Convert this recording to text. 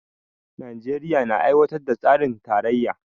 Najeriya na aiwatar da tsarin tarayya